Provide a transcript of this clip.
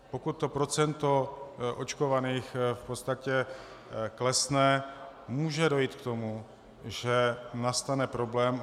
Pokud to procento očkovaných v podstatě klesne, může dojít k tomu, že nastane problém.